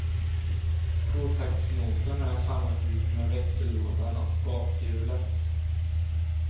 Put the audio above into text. Tvåtaktsmotorn är sammanbyggd med växellådan och bakhjulet.